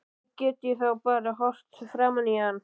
Hvernig get ég þá bara horft framan í hann aftur?